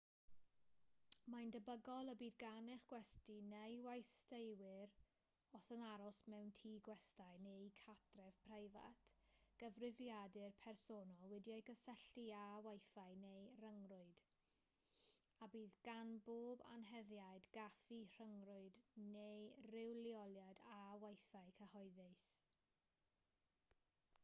mae'n debygol y bydd gan eich gwesty neu westeiwyr os yn aros mewn tŷ gwestai neu gartref preifat gyfrifiadur personol wedi'i gysylltu â wifi neu ryngrwyd a bydd gan bob anheddiad gaffi rhyngrwyd neu ryw leoliad â wifi cyhoeddus